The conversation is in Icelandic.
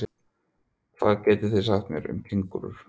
Hvað getið þið sagt mér um kengúrur?